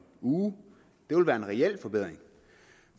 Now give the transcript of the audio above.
uge det ville være en reel forbedring